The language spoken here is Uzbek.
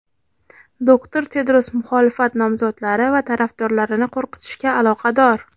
doktor Tedros muxolifat nomzodlari va tarafdorlarini qo‘rqitishga aloqador.